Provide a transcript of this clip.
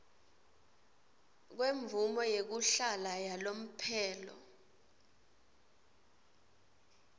kwemvumo yekuhlala yalomphelo